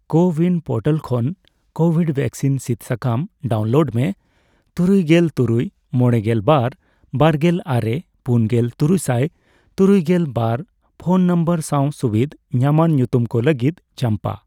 CoWIN portal ᱠᱷᱚᱱ COVID vaccine ᱥᱤᱫ ᱥᱟᱠᱟᱢ ᱰᱟᱣᱩᱱᱞᱳᱰ ᱢᱮ ᱛᱩᱨᱩᱭᱜᱮᱞ ᱛᱩᱨᱩᱭ ,ᱢᱚᱲᱮᱜᱮᱞ ᱵᱟᱨ ,ᱵᱟᱨᱜᱮᱞ ᱟᱨᱮ ,ᱯᱩᱱ ᱜᱮᱞ ,ᱛᱩᱨᱩᱭᱥᱟᱭ ᱛᱩᱨᱩᱭᱜᱮᱞ ᱵᱟᱨ ᱯᱷᱚᱱ ᱱᱚᱢᱵᱚᱨ ᱥᱟᱣ ᱥᱩᱵᱤᱫᱷ ᱧᱟᱢᱟᱱ ᱧᱩᱛᱩᱢ ᱠᱚ ᱞᱟᱹᱜᱤᱫ ᱪᱟᱢᱯᱟ ᱾